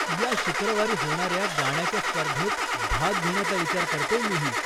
या शुक्रवारी होणाऱ्या गाण्याच्या स्पर्धेत भाग घेण्याचा विचार करतेय मीही.